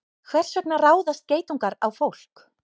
Hvers vegna ráðast geitungar á fólk?